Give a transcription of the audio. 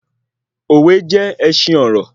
Òwe jé ẹṣin ọrọ